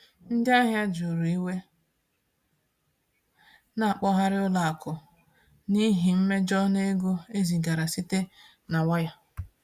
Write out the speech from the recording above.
Ndị ahịa juru iwe na-akpọkarị ụlọ akụ n’ihi mmejọ n’ego e zigara site na waya.